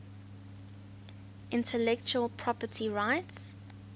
intellectual property rights